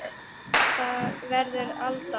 Það verður Alda.